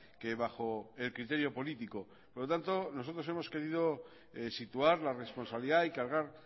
que bajo el criterio político por lo tanto nosotros hemos querido situar la responsabilidad y cargar